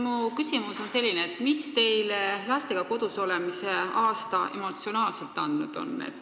Mu küsimus on selline: mida on teile lastega kodus olemise aasta emotsionaalselt andnud?